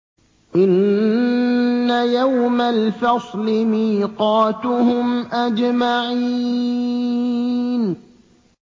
إِنَّ يَوْمَ الْفَصْلِ مِيقَاتُهُمْ أَجْمَعِينَ